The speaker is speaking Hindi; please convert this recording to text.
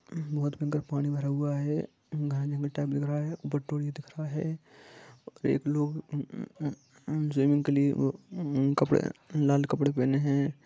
बहुत गंदा पानी भरा हुआ है गंगानगर टाइम लग रहा है एक लोग लाल कपड़े पहने हैं